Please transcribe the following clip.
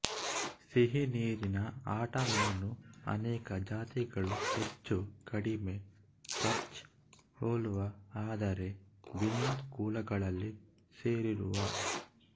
ಸಿಹಿನೀರಿನ ಆಟಮೀನು ಅನೇಕ ಜಾತಿಗಳು ಹೆಚ್ಚು ಕಡಿಮೆ ಪರ್ಚ್ ಹೋಲುವ ಆದರೆ ಭಿನ್ನ ಕುಲಗಳಲ್ಲಿ ಸೇರಿರುವ